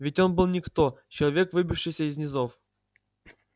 ведь он был никто человек выбившийся из низов